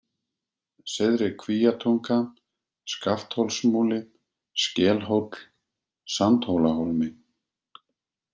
Syðri-Kvíatunga, Skaftholtsmúli, Skelhóll, Sandhólahólmi